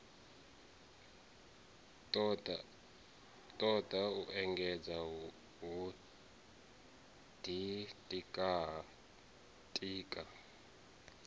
toda u engedzedza ho ditika